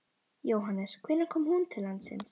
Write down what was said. Jóhannes: Hvenær kom hún til landsins?